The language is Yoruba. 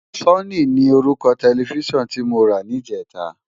Sónì ni órúkò tèlèfisán ti mó rá nijètá